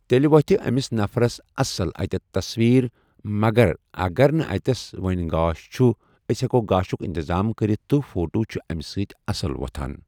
تیٚلہِ وتھہِ أمِس نفرس اصٕل اتٖیٚتھ تصویر مگر اگر نہٕ اتیٚس وۄنۍ گاش چھُ أسۍ ہیٚکو گاشُک انتظام کٔرِتھ تہٕ فوٹو چھِ امہِ سۭتۍ اصٕل وتھان۔